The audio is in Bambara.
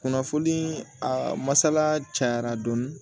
Kunnafoni a masala cayara dɔɔni